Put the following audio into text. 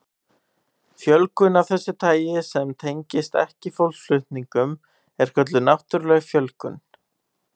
Fjölgun af þessu tagi sem tengist ekki fólksflutningum er kölluð náttúruleg fjölgun.